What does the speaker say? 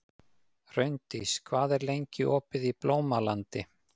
Hraundís, hvað er lengi opið í Blómalandi?